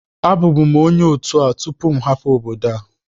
Abụbu m onye otu a tupu m hapụ obodo a